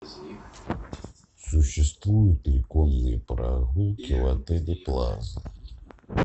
существуют ли конные прогулки в отеле плаза